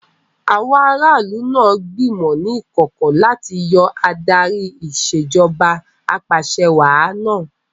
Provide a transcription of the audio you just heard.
Àwọn ará ìlú náà gbìmọ̀ ní ìkọ̀kọ̀ láti yọ Adarí Ìṣèjọba Ap'àṣẹwàá náà